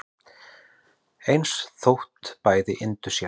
eins þótt bæði yndu sér